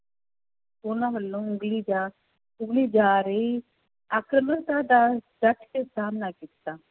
ਉਹਨਾਂ ਵੱਲੋਂ ਉਗਲੀ ਜਾ ਉਗਲੀ ਜਾ ਰਹੀ ਆਕਰਮਤਾ ਦਾ ਡਟ ਕੇ ਸਾਹਮਣਾ ਕੀਤਾ।